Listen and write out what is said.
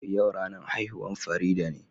Yau ranan haihuwan Farida ne.